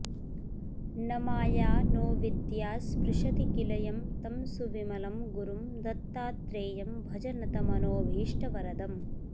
न माया नोऽविद्या स्पृशति किल यं तं सुविमलं गुरुं दत्तात्रेयं भज नतमनोऽभीष्टवरदम्